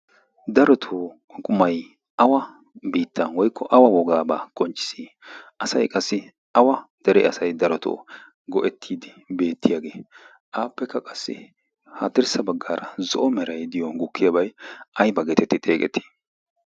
darotoo qumay awa biittan woykko awa wogaabaa qonccis asay qassi awa dere asay darotoo go'ettiiddi beettiyaagee aappekka qassi ha tirssa baggaara zo'o meray diyon gukkiyaabay ay ba geetetti xeeqetii